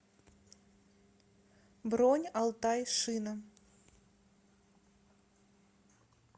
бронь алтай шина